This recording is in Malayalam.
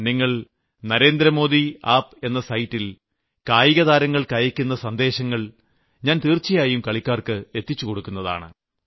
നിങ്ങൾ നരേന്ദ്രമോദി ആപ് എന്ന സൈറ്റിൽ കായികതാരങ്ങൾക്കയക്കുന്ന സന്ദേശങ്ങൾ ഞാൻ തീർച്ചയായും കളിക്കാർക്ക് എത്തിച്ചുകൊടുക്കുന്നതാണ്